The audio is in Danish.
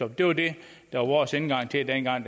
det var det der var vores indgang til det dengang